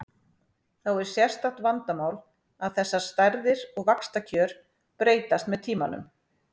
Þá er sérstakt vandamál að þessar stærðir og vaxtakjör breytast með tímanum.